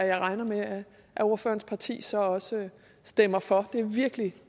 jeg regner med at ordførerens parti så også stemmer for det er virkelig